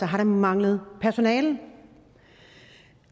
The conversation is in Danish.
har der manglet personale